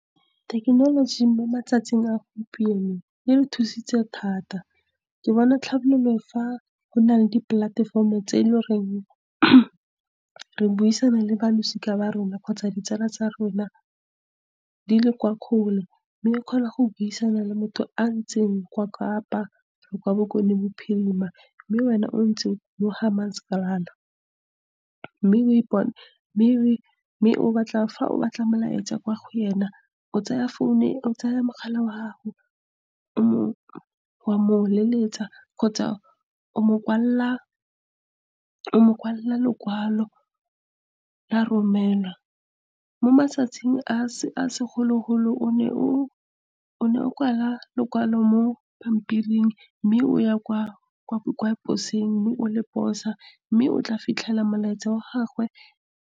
Thekenoloji mo matsatsing a gompieno e re thusitse thata. Ke bona tlhabololo, fa go na le dipolatefomo tse e le goreng re buisana le ba losika ba rona kgotsa ditsala tsa rona di le kwa kgole, mme ke kgona go buisana le motho yo a leng kwa Kapa, kgotsa kwa Bokone Bophirima, mme wena yo o nnang mo Hammanskraal . Mme fa o batla molaetsa kwa go yena , o tsaya mogala wa gago, wa mo leletsa, kgotsa o mo kwalela lokwalo la romelwa. Mo matsatsing a se segologolo, o ne o kwala lokwalo mo pampiring, mme o ya kwa posong, mme o le posa, mme o tla fitlhela molaetsa wa gagwe.